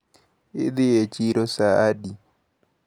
Idhi e chiro saa adi?